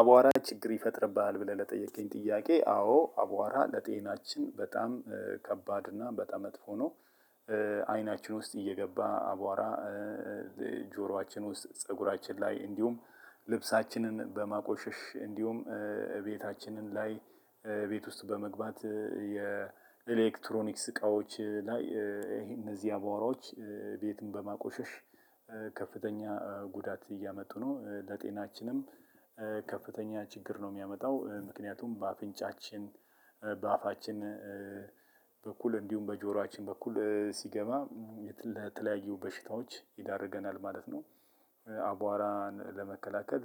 አቧራ ችግር ይፈጥርብሃል ብለህ ለጠየቀኝ ጥያቄ አዎ አቧራ ለጤናችን በጣም ከባድ እና በጣም መጥፎ ነው። አይናችን ውስጥ እየገባ አቧራ። ጆሮአችን ውስጥ ፀጉራችን ላይ እንዲሁም ልብሳችንን በማቆሸሽ እንዲሁም እቤታችንም ላይ ቤት ውስጥ በመግባት የኤሌክትሮኒክስ እቃዎች ላይ ይሄ እነዚህ አቧራዎች ቤቱን በማቆሸሽ። ከፍተኛ ጉዳት እያመጡ ነው ለጤናችንም ከፍተኛ ችግር ነው የሚያመጣው። ምክንያቱም በአፍንጫችን በአፋችን በኩል እንዲሁም በጆሮአችን በኩል ሲገባ ለተለያዩ በሽታዎች ይዳርገናል ማለት ነው። አቧራን ለመከላከል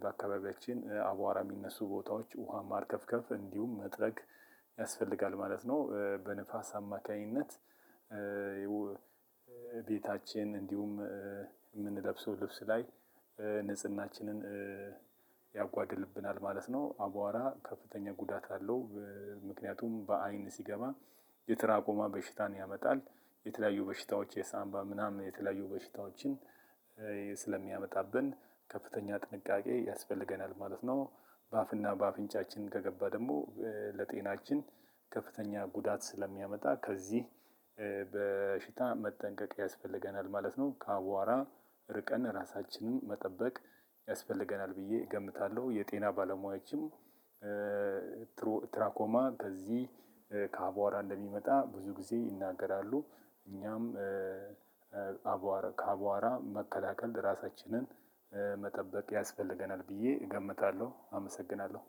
በአካባቢያችን አቧራ የሚነሱ ቦታዎች ውሃ ማርከፍከፍ እንዲሁም መጥረግ ያስፈልጋል ማለት ነው። በንፋስ አማካኝነት ቤታችን እንዲሁም የምንለብሰው ልብስ ላይ ንጽህናችንን ያጓድልብናል ማለት ነው። አቧራ ከፍተኛ ጉዳት አለው። ምክንያቱም በአይን ሲገባ የትራኮማ በሽታን ያመጣል የተለያዩ በሽታዎች የሳንባ ምናምን የተለያዩ በሽታዎችን ስለሚያመጣብን ከፍተኛ ጥንቃቄ ያስፈልገናል ማለት ነው። በአፍና በአፍንጫችን ከገባ ደግሞ ለጤናችን ከፍተኛ ጉዳት ስለሚያመጣ ከዚህ በሽታ መጠንቀቅ ያስፈልገናል ማለት ነው። ከአቧራ ርቀን ራሳችንን መጠበቅ ያስፈልገናል ብዬ እገምታለሁ። የጤና ባለሙያዎችን ትራኮማ ከዚህ ከአቧራ እንደሚመጣ ብዙ ጊዜ ይናገራሉ። እኛም ከአቧራ መከላከል ራሳችንን መጠበቅ ያስፈልገናል ብዬ እገምታለሁ፤ አመሰግናለሁ።